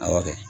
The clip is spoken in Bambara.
A kɛ